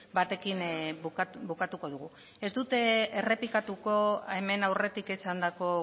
batekin bukatuko dugu ez dut errepikatuko hemen aurretik esandako